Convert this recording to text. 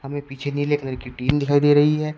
इनमें पीछे नीले कलर की टीन दिखाई दे रही है।